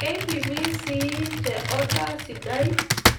Keipimi sii te oda sidai